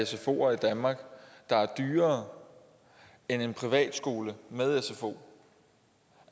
sfoer i danmark der er dyrere end en privat skole med sfo